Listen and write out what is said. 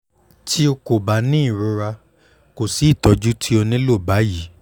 bi o ko ba ni irora ko si itọju ti o nilo ni bayi